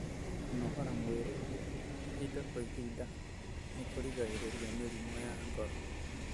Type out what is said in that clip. Kũnogora mwĩrĩ ihinda kwa ihinda ni kũgiragĩrĩria mĩrimũ ya ngoro.